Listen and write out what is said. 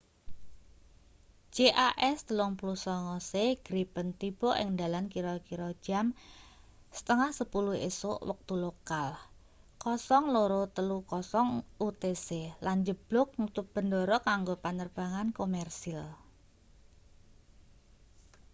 jas 39c gripen tiba ing dalan kira-kira jam 9.30 esuk wektu lokal 0230 utc lan njeblug nutup bendara kanggo panerbangan komersil